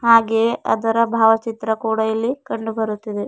ಹಾಗೆ ಅದರ ಭಾವಚಿತ್ರ ಕೂಡ ಇಲ್ಲಿ ಕಂಡುಬರುತ್ತಿದೆ.